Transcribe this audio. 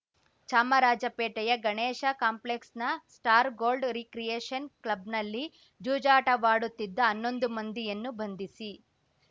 ಚಾಮರಾಜಪೇಟೆಯ ಗಣೇಶ ಕಾಂಪ್ಲೆಕ್ಸ್‌ನ star gold recreation ಕ್ಲಬ್‌ನಲ್ಲಿ ಜೂಜಾಟವಾಡುತ್ತಿದ್ದ ಹನ್ನೊಂದು ಮಂದಿಯನ್ನು ಬಂಧಿಸಿ